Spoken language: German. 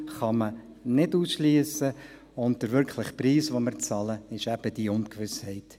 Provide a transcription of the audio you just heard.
Missbrauch kann man nicht ausschliessen, und der wirkliche Preis, den wir zahlen, ist eben diese Ungewissheit.